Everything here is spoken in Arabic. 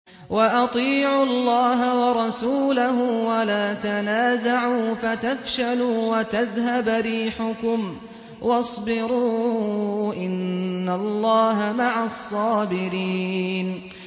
وَأَطِيعُوا اللَّهَ وَرَسُولَهُ وَلَا تَنَازَعُوا فَتَفْشَلُوا وَتَذْهَبَ رِيحُكُمْ ۖ وَاصْبِرُوا ۚ إِنَّ اللَّهَ مَعَ الصَّابِرِينَ